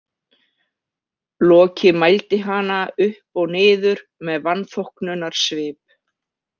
Loki mældi hana upp og niður með vanþóknunarsvip.